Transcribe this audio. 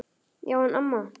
Já en amma.